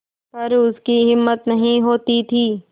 पर उसकी हिम्मत नहीं होती थी